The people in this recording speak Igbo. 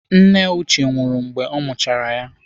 Nne Uche nwụrụ mgbe ọ mụchara ya.